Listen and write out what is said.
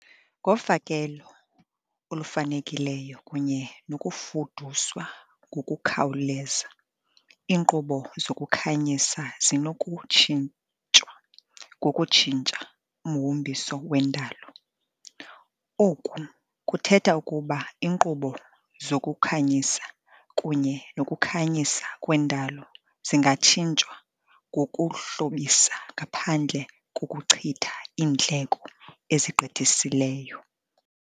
Ngofakelo olufanelekileyo kunye nokufuduswa ngokukhawuleza, iinkqubo zokukhanyisa zinokutshintshwa ngokutshintsha umhombiso wendalo. Oku kuthetha ukuba iinkqubo zokukhanyisa kunye nokukhanyisa kwendalo zingatshintshwa ngokuhlobisa ngaphandle kokuchitha iindleko ezigqithiseleyo.